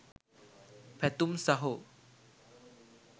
පැතුම් සහෝ